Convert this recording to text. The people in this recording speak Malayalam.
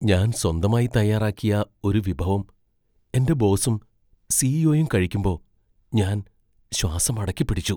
ഞാൻ സ്വന്തമായി തയ്യാറാക്കിയ ഒരു വിഭവം എന്റെ ബോസും സി.ഇ.ഒ.യും കഴിക്കുമ്പോ ഞാൻ ശ്വാസം അടക്കിപ്പിടിച്ചു.